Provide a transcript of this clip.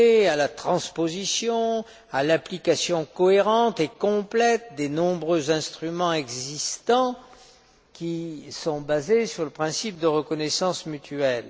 à la transposition et à l'application cohérente et complète des nombreux instruments existants qui sont basés sur le principe de reconnaissance mutuelle.